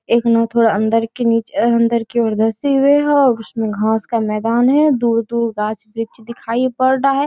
एक नाव थोड़ा अंदर के नीचे अंदर की ओर धसी हुई है और उसमें घास का मैदान है दूर-दूर गाछ वृक्ष दिखाई पड़ रहा है।